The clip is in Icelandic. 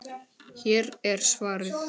Hér er svarið.